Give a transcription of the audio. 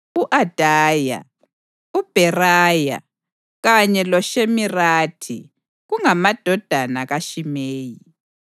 u-Adaya, uBheraya kanye loShimirathi kungamadodana kaShimeyi.